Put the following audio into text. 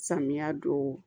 Samiya don